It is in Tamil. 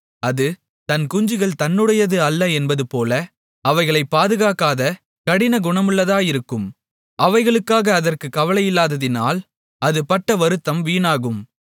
அது தன் குஞ்சுகள் தன்னுடையது அல்ல என்பதுபோல அவைகளைப் பாதுகாக்காத கடினகுணமுள்ளதாயிருக்கும் அவைகளுக்காக அதற்குக் கவலையில்லாததினால் அது பட்ட வருத்தம் வீணாகும்